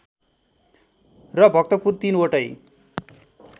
र भक्तपुर ३ वटै